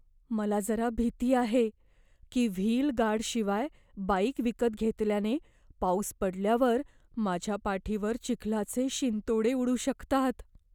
मला जरा भीती आहे की, व्हील गार्डशिवाय बाइक विकत घेतल्याने पाऊस पडल्यावर माझ्या पाठीवर चिखलाचे शिंतोडे उडू शकतात.